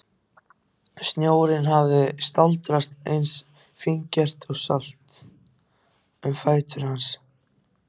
Snjórinn hafði sáldrast eins og fíngert salt um fætur hans.